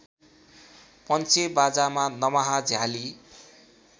पञ्चेबाजामा दमाहा झयाली